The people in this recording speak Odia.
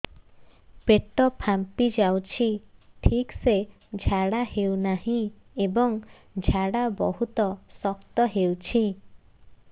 ପେଟ ଫାମ୍ପି ଯାଉଛି ଠିକ ସେ ଝାଡା ହେଉନାହିଁ ଏବଂ ଝାଡା ବହୁତ ଶକ୍ତ ହେଉଛି